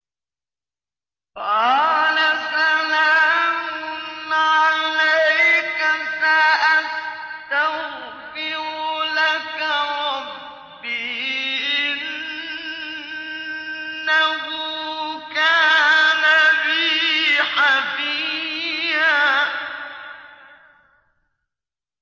قَالَ سَلَامٌ عَلَيْكَ ۖ سَأَسْتَغْفِرُ لَكَ رَبِّي ۖ إِنَّهُ كَانَ بِي حَفِيًّا